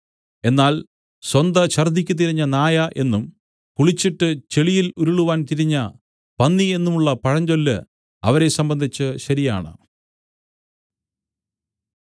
എന്നാൽ സ്വന്ത ഛർദ്ദിയ്ക്ക് തിരിഞ്ഞ നായ എന്നും കുളിച്ചിട്ട് ചെളിയിൽ ഉരുളുവാൻ തിരിഞ്ഞ പന്നി എന്നും ഉള്ള പഴഞ്ചൊല്ല് അവരെ സംബന്ധിച്ച് ശരിയാണ്